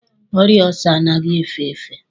Ọrịa ọọsa anaghị efe efe.